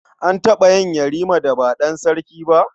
An taɓa yin Yarima da ba ɗan sarki ba?